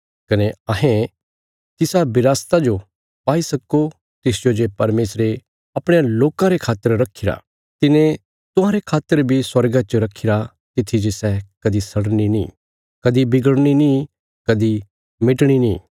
कने अहें तिसा विरासता जो पाई सक्को तिसजो जे परमेशरे अपणयां लोकां रे खातर रखीरा तिने तुहांरे खातर बी स्वर्गा च रखीरा तित्थी जे सै कदी सड़नी नीं कदी बिगड़नी नीं कदी मिटणी नीं